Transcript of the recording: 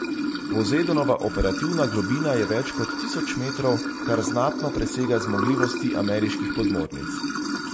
Pozejdonova operativna globina je več kot tisoč metrov, kar znatno presega zmogljivosti ameriških podmornic.